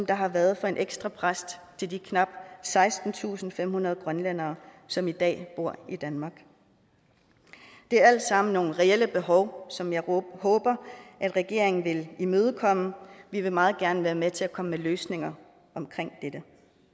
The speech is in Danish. der har været for en ekstra præst til de knap sekstentusinde og femhundrede grønlændere som i dag bor i danmark det er alt sammen nogle reelle behov som jeg håber at regeringen vil imødekomme vi vil meget gerne være med til at komme med løsninger omkring dette